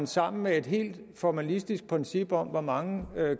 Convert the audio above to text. sammen med et helt formalistisk princip om hvor mange